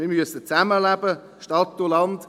wir müssen zusammenleben, Stadt und Land.